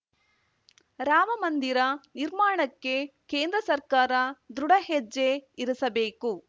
ರಾಮ ಮಂದಿರ ನಿರ್ಮಾಣಕ್ಕೆ ಕೇಂದ್ರ ಸರ್ಕಾರ ದೃಢ ಹೆಜ್ಜೆ ಇರಿಸಬೇಕು